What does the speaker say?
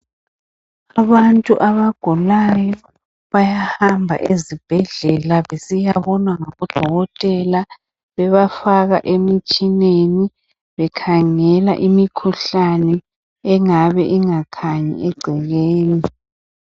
Abantu abagulayo bayahamba ezibhedlela besiyabonwa ngo dokotela bebafaka emitshineni bekhangela imikhuhlane engabe ingakhanyi egcekeni.